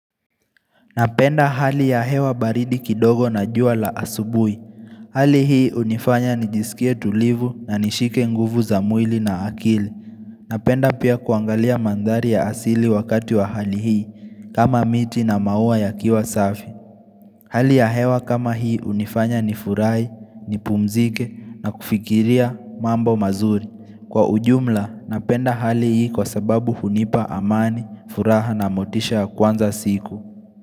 Napenda hali ya hewa baridi kidogo na juwa la asubui. Hali hii hunifanya nijisikie tulivu na nishike nguvu za mwili na akili. Napenda pia kuangalia mandhari ya asili wakati wa hali hii kama miti na maua ya kiwa safi. Hali ya hewa kama hii hunifanya nifurai, nipumzike na kufikiria mambo mazuri. Kwa ujumla, napenda hali hii kwa sababu hunipa amani, furaha na motisha ya kwanza siku.